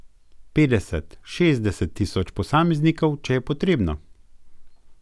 Petdeset, šestdeset tisoč posameznikov če je potrebno.